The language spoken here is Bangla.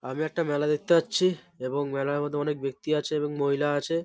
আমি একটা মেলা দেখতে পাচ্ছি এবং মেলার মধ্যে অনেক ব্যক্তি আছে এবং মহিলা আছে --